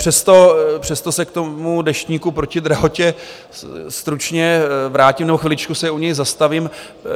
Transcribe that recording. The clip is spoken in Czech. Přesto se k tomu Deštníku proti drahotě stručně vrátím nebo chviličku se u něj zastavím.